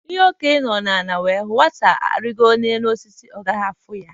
Ihe Okenye nọ ala wee hụ, Nwata rigoo elu osisi, ọ gaghị afụ ya